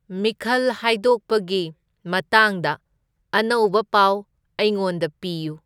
ꯃꯤꯈꯜ ꯍꯥꯏꯗꯣꯛꯄꯒꯤ ꯃꯇꯥꯡꯗ ꯑꯅꯧꯕ ꯄꯥꯎ ꯑꯩꯉꯣꯟꯗ ꯄꯤꯌꯨ